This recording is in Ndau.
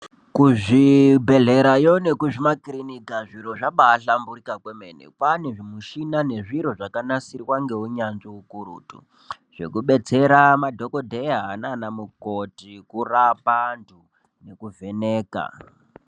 Kuzvibhedhleyayo nemumakiriniki zviro zvabaahlamburika kwemene kwane zvimuchina zvakanasirwa ngehunyanzvi hukurutu zvekubetsera madhokoteya nana mukoti kurape vantu nekuvheneka .